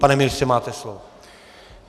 Pane ministře, máte slovo.